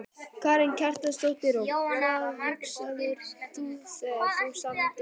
Karen Kjartansdóttir: Og hvað hugsaðir þú þegar þú samdir lagið?